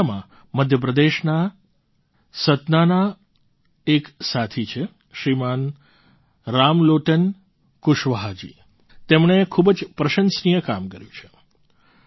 આ દિશામાં મધ્ય પ્રદેશના સતનાના એક સાથી છે શ્રીમાન રામલોટન કુશવાહાજી તેમણે ખૂબ જ પ્રશંસનીય કામ કર્યું છે